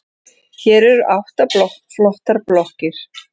Hér eru átta flottar blokkir.